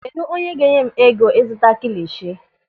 Kedụ onye ga-enye m ego ịzụta kilishi?